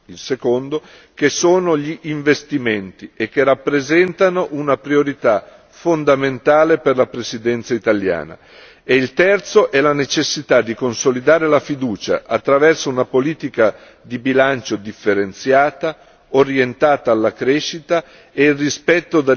Il secondo che sono gli investimenti e che rappresentano una priorità fondamentale per la Presidenza italiana, e il terzo è la necessità di consolidare la fiducia, attraverso una politica di bilancio differenziata orientata alla crescita e il rispetto